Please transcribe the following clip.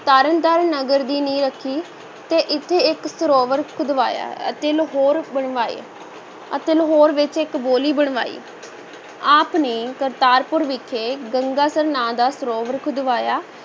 ਤਰਨਤਾਰਨ ਨਗਰ ਦੀ ਨੀਂਹ ਰੱਖੀ ਤੇ ਇੱਥੇ ਇੱਕ ਸਰੋਵਰ ਖੁਦਵਾਇਆ ਅਤੇ ਲਾਹੌਰ ਬਣਵਾਏ ਅਤੇ ਲਾਹੌਰ ਵਿੱਚ ਇੱਕ ਬਾਉਲੀ ਬਣਵਾਈ, ਆਪ ਨੇ ਕਰਤਾਰਪੁਰ ਵਿਖੇ ਗੰਗਾਸਰ ਨਾਂ ਦਾ ਸਰੋਵਰ ਖੁਦਵਾਇਆ।